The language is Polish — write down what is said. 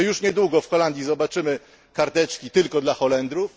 Czy już niedługo w Holandii zobaczymy karteczki tylko dla Holendrów?